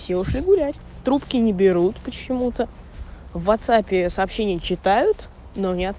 все ушли гулять трубки не берут почему-то в ватсапе сообщение читают но не от